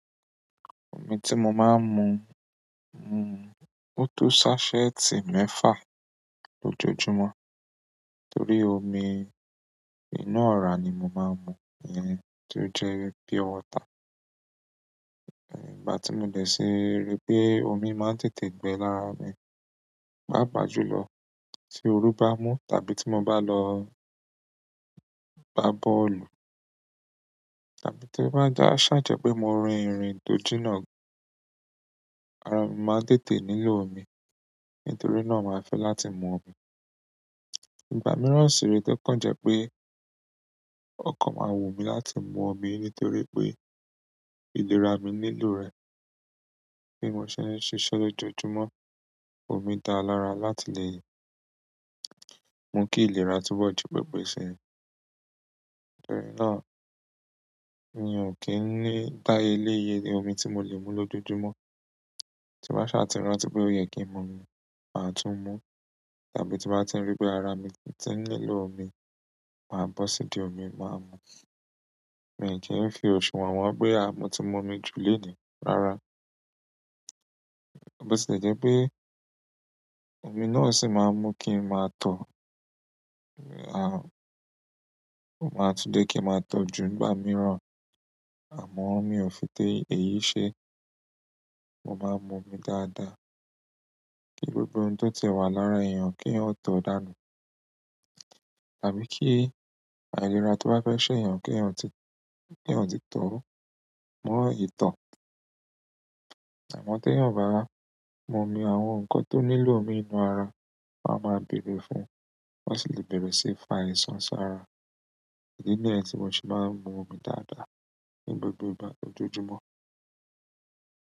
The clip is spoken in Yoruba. Omi tí mo máa ń mu, hm, ò tó sásẹ́ẹ̀tì mẹ́fà lójoojúmọ́. Torí omi inú ọ̀rá ni mo máa ń mu, iyen, tó jẹ́ wi pure water. Eh, ìgbà ti mo de ti ri pe omi maa n tètè gbe lára mi, paapaa jùlọ, ti ooru ba n mu tàbí ti mo ba lo o gba bọ́ọ̀lù, tàbí ti o ba saa je pe mo rin irin to jina, ara mi maa n tètè nílò omi nítorí náà, màá fẹ́ láti mu omi. Ìgbà mìíràn sì re to kàn jẹ́ pé o kàn máa wùnmí láti mu omi nítorí pé ìlera mi nílò rẹ̀. Bí mo ṣe ń ṣiṣẹ́ lójoojúmọ́, omi dára lára láti lè mú kí ìlera túbọ̀ ju pẹpẹ sí ni. Nítorí náà, mi ò kì í ní dáyele iye le omi tí mo lè mu lójoojúmọ́. Tí n bá sa tì rántí pé ò yẹ kí n mu omi, màá tún mu. Tàbí tí n bá ti rí pé ara mi ti n nílò omi, màá bọ́ sídi omi, màá mu. Mi i kì n fi òṣùwọ̀n won pé, àh, mọ́ tí mu omi jù lenì. Rárá. Bo ti le jẹ́ pé, omi náà sì máa ń mú kí n máa tọ. Aàh, o máa tún jé kí n máa tọ ju nìgbà mìíràn. Àmọ́, mi ò fi ti èyí ṣe. Mo maa mu omi dáadáa, nítorí pe oun to ti e wa lára eeyan, keyan to o danu tàbí kí àìlera tó bá fẹ́ ṣé èèyàn kí èèyàn ti, kí èèyàn ti tọ́. Mọ ìtọ́. Àmọ́ tẹ̀yan ò bá wá mu omi, àwọn nǹkan tó nílò omi nínú ara, wọ́n á máa bèrè fún, wọ́n sì lè bere si fa àìsàn sara. Idi niyen tí mo se máa ń mu omi dáadáa, ní gbogbo ìgbà lójoojúmọ́.